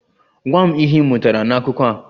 Gwa m ihe ị mụtara n'akụkọ a!